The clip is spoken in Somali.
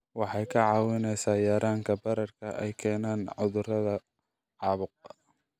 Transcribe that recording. Waxay kaa caawinaysaa yaraynta bararka ay keenaan cudurrada caabuqa.